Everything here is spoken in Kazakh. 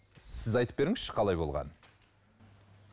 сіз айтып беріңізші қалай болғанын